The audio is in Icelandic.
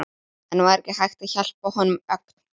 En var ekki hægt að hjálpa honum ögn?